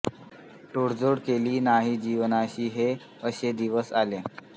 तडजोड केली नाही जीवनाशी हे असे दिवस आले